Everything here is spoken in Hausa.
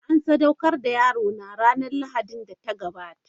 An sadaukar da yarona ranar Lahadin da ta gabata.